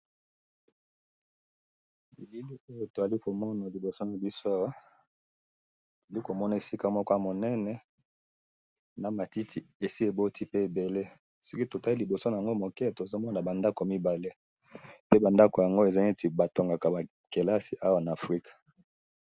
na moni esika munene, na ndako mibale minene, ezali esika batongaka ba kelasi na Africa